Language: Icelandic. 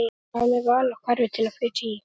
Hvað með val á hverfi til að flytja í?